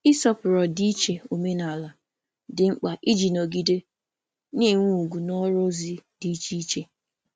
Ịsọpụrụ ọdịiche omenala dị mkpa iji nọgide na-enwe ugwu n’ọrụ ozi dị iche iche.